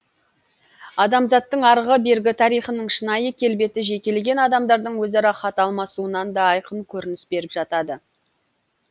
адамзаттың арғы бергі тарихының шынайы келбеті жекелеген адамдардың өзара хат алмасуынан да айқын көрініс беріп жатады